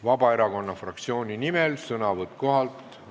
Vabaerakonna fraktsiooni nimel sõnavõtt kohalt.